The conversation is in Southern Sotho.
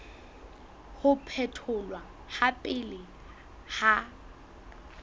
ho phetholwa ha pele ha